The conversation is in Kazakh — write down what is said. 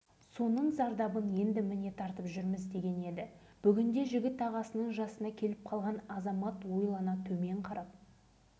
шатырлар сынып жерде жатады тіпті сынған терезелеріміздің соңғы шынысына дейін салып беретін біз оған мәз болып